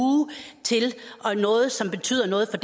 til noget som betyder noget for